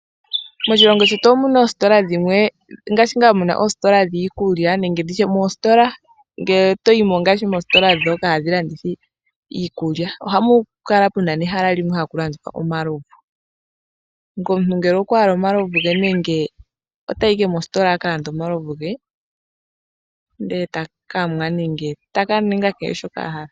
Moshilongo shetu omuna oositola dhimwe nngaashi ngaa muna oositola dhii kulya nenge nditye mositola ngele toyimo ngaashi moositola dhoka hadhi landitha iikulya ohamu kala puna nehala limwe hamu landithwa omalovu ngele omuntu okwa hala omalovu ge otayi owala mositola a ka lande omalovu ge ete nu nenge ta ningi shoka a hala.